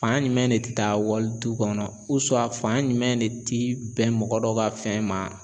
Fan jumɛn de te taa wali du kɔnɔ fan jumɛn de ti bɛn mɔgɔ dɔ ka fɛn ma.